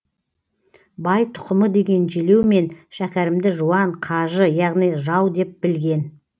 бай тұқымы деген желеумен шәкәрімді жуан қажы яғни жау деп білген